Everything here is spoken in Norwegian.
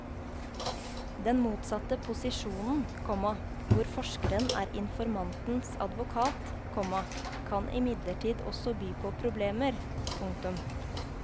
Den motsatte posisjonen, komma hvor forskeren er informantens advokat, komma kan imidlertid også by på problemer. punktum